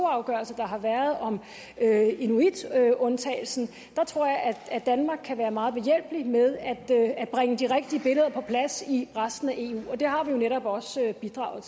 afgørelse der har været om inuitundtagelsen kan være meget behjælpelig med at bringe de rigtige billeder på plads i resten af eu og det har vi jo netop også bidraget